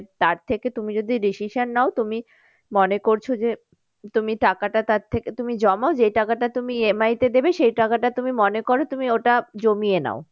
তার থেকে তুমি যদি decision নাও তুমি মনে করছো যে তুমি টাকাটা তার থেকে তুমি জমাও যেই টাকাটা তুমি জমাও যেই টাকাটা তুমি EMI তে সেই টাকাটা তুমি মনে করো তুমি ওটা জমিয়ে নাও